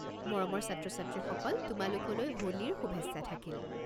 মৰমৰ ছাত্ৰ-ছাত্ৰীসকল তোমালোকলৈ হোলীৰ শুভেচ্ছা থাকিল!